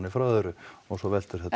frá öðru og svo veltur þetta